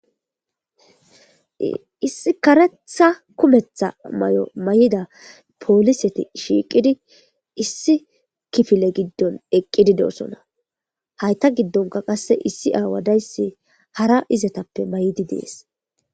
Issi karetha kumetha mayo mayida poliseti shiiqidi issi kifile gidon eqidi dosona hata qase issi awa daysi hara izetape mayidi des